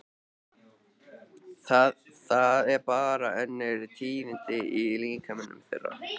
Það er bara önnur tíðni í líkamanum þeirra.